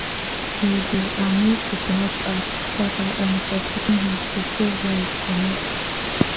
we dey um use coconut ash scatter um for chicken house to chase lice comot